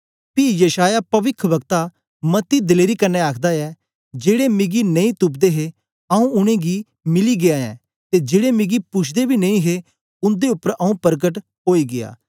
पी यशायाह पविख्वक्ता मती दलेरी कन्ने आखदा ऐ जेड़े मिगी नेई तुपदे हे आऊँ उनेंगी मिली गीया ऐं ते जेड़े मिगी पुछदे बी नेई हे उन्दे उपर आऊँ परकट ओई गीया